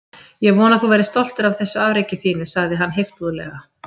Ég vona að þú verðir stoltur af þessu afreki þínu- sagði hann heiftúðlega.